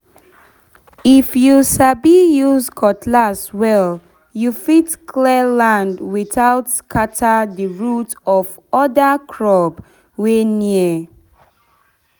if you sabi use cutlass well you fit clear land without scatter the root of other crop wey near.